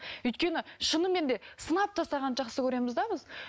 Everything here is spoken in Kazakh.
өйткені шынымен де сынап тастағанды жақсы көреміз де біз